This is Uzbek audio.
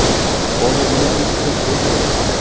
Hozir nima qilish kerak, doktor?